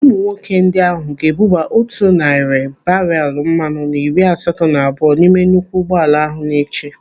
Ụmụ nwoke ndị ahụ ga-ebuba otu narị barelu mmanụ na iri asatọ na abụọ n'ime nnukwu ụgbọala ahụ na-eche.